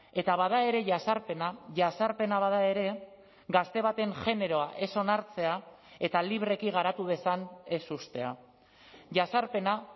eta bada ere jazarpena jazarpena bada ere gazte baten generoa ez onartzea eta libreki garatu dezan ez uztea jazarpena